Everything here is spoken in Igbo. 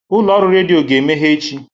Ụlọ ọrụ redio ga-emeghe echi.